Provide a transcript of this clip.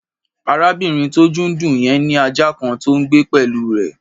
Arábìnrin tí ojú ń dùn yẹn ní ajá kan tó ń gbé pẹ̀lú rẹ̀.